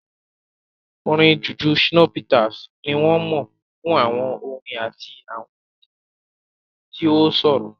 Orin Juju Shina Peters ni wọ́n mọ̀ fún àwọn orin àti àwọn orin rẹ̀ tí ó ṣòro.